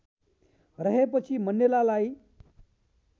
रहेपछि मण्डेलालाई